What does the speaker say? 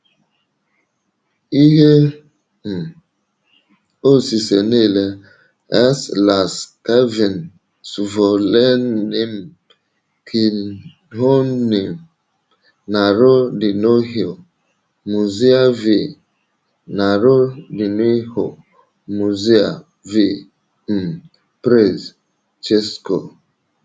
Ihe um osise nile: S laskavým svolením knihovny Národního muzea v Národního muzea v um Praze, C̆esko